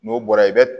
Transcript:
N'o bɔra i bɛ